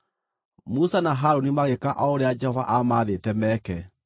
Musa na Harũni magĩĩka o ũrĩa Jehova aamaathĩte meke.